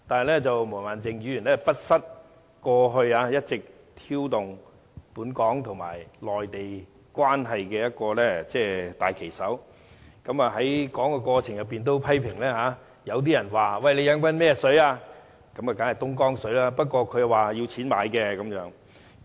不過，毛孟靜議員不失為過去一直挑動本港和內地關係的大旗手，她在發言時也批評說，有人問你喝的是甚麼水，當然是東江水，不過他說要用錢買的。